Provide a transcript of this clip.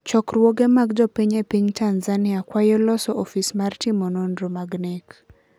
chokrwuoge mag jopiny e piny Tanzania kwayo loso ofis mar timo nendro mag nek.